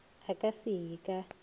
a ka se ye ka